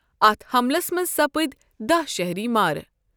اتھ حملس منز سپدۍ داہ شہری مارٕ ۔